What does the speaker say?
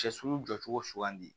Sɛ sugu jɔcogo sugandi